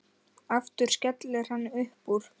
Aftur skellir hann upp úr.